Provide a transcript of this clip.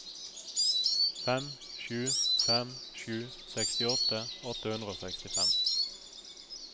fem sju fem sju sekstiåtte åtte hundre og sekstifem